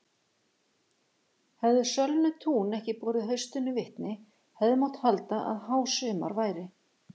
Hefðu sölnuð tún ekki borið haustinu vitni hefði mátt halda að hásumar væri.